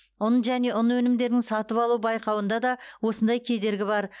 ұн және ұн өнімдерінің сатып алу байқауында да осындай кедергі бар